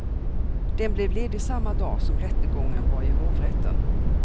Den blev ledig samma dag som rättegången var i hovrätten.